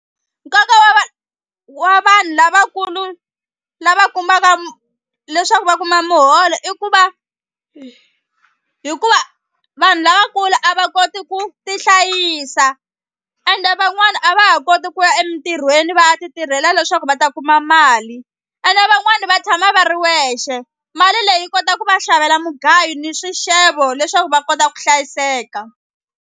Nkoka wa wa vanhu lavakulu lava kumaka leswaku va kuma muholo i ku va hikuva vanhu lavakulu a va koti ku ti hlayisa ende van'wani a va ha koti ku ya emintirhweni va ya ti tirhela leswaku va ta kuma mali ene van'wani va tshama va ri wexe mali leyi kota ku va xavela mugayo ni swixevo leswaku va kota ku hlayiseka.